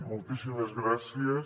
moltíssimes gràcies